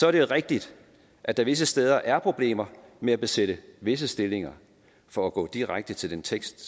er det rigtigt at der visse steder er problemer med at besætte visse stillinger for at gå direkte til den tekst